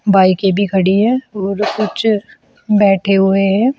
बाईके भी खड़ी हैं और कुछ बैठे हुए हैं।